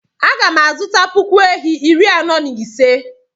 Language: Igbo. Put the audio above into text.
Aga m azụta puku ehi iri anọ na ise.